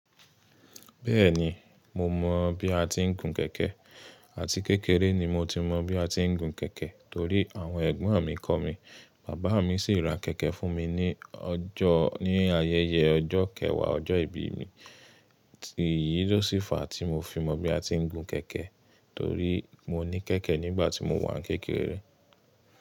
Bẹ́ẹ̀ni, mo mọ̀ bí a ti ń gun kẹ̀kẹ́ àti kékeré ni mo ti mọ bí a ti ń gun kẹ̀kẹ́ torí àwọn ẹ̀gbọ́n mi kọ́ mi, bàbá mi sì ra kẹ̀kẹ́ fún mi ní ọjọ́, ní ayẹyẹ ọjọ́ kẹwàá ọjọ́ ìbí mi. Tì yìí ló sì fa tí mo fi mọ bí a ti ń gun kẹ̀kẹ́ torí mo ní kẹ̀kẹ́ nígbà tí mo wà ní kékeré.